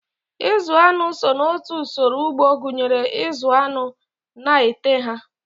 Ịzụ aṅụ so n'otu usoro ugbo gụnyere ịzụ aṅụ na ete ha.